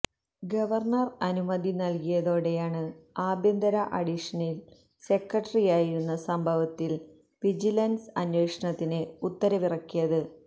governor അനുമതി നല്കിയതോടെയാണ് ആഭ്യന്തര അഡിഷനല് സെക്രട്ടറിയായിരുന്നു സംഭവത്തില് വിജിലന്സ് അന്വേഷണത്തിന് ഉത്തരവിറക്കിയത്